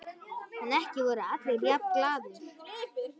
En ekki voru allir jafn glaðir.